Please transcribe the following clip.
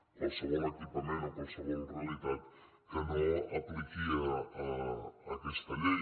qualsevol equipament o qualsevol realitat que no apliqui aquesta llei